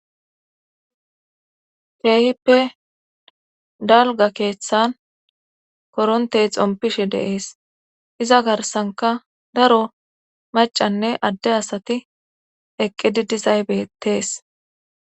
keehippe dalga keeththan korontey xompishe deees iza garsanka daro macanne adde asati eqqi didizaybetees